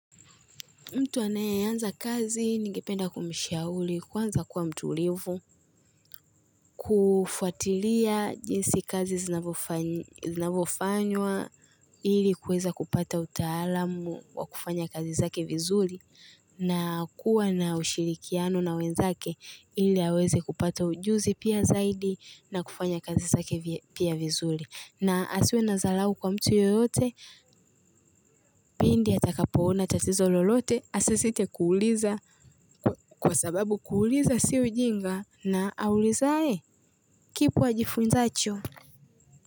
Mtu anayeanza kazi ningependa kumshauri kwanza kuwa mtulivu kufuatilia jinsi kazi zinavofanywa ili kuweza kupata utaalamu wa kufanya kazi zake vizuri na kuwa na ushirikiano na wenzake ili aweze kupata ujuzi pia zaidi na kufanya kazi zake pia vizuri. Na asiwe na zalau kwa mtu yoyote Pindi atakapoona tatizo lolote Asisite kuuliza Kwa sababu kuuliza si ujinga na auulizae kipo ajifunsacho.